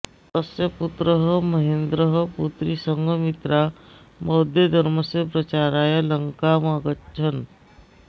तस्य पुत्रः महेन्द्रः पुत्री सङ्गमित्रा बौद्धधर्मस्य प्राचाराय लङ्काम् अगच्छन्